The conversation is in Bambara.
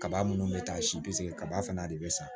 Kaba minnu bɛ taa si kaba fana de bɛ san